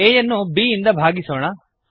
a ಯನ್ನು b ಇಂದ ಭಾಗಿಸೋಣ